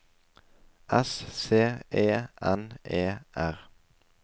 S C E N E R